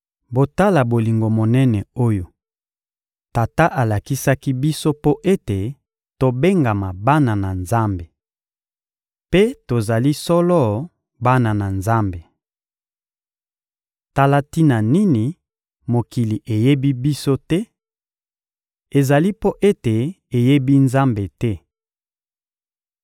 Botala bolingo monene oyo Tata atalisaki biso mpo ete tobengama bana na Nzambe! Mpe tozali solo bana na Nzambe. Tala tina nini mokili eyebi biso te: ezali mpo ete eyebi Nzambe te.